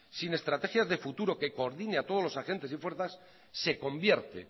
sin estrategias de futuro que coordine a todos los agentes y fuerzas se convierte